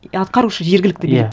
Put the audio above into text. атқарушы жергілікті билік